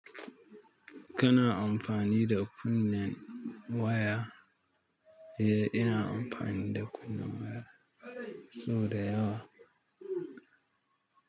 Kana amfani da kunnen waya? Eh, ina amfani da kunnen waya sau da yawa.